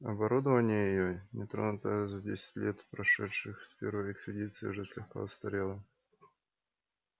оборудование её не тронутое за десять лет прошедших с первой экспедиции уже слегка устарело